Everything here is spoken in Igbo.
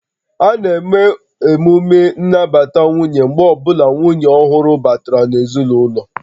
A na-eme emume nnabata nwunye mgbe ọ bụla nwunye ọhụrụ batara n'ezinụlọ